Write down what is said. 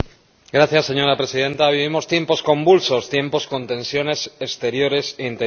Señora Presidenta, vivimos tiempos convulsos, tiempos con tensiones exteriores e interiores.